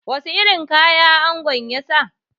Wasu irin kaya angon ya sa?